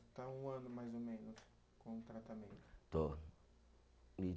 Está um ano, mais ou menos, com o tratamento. Estou, e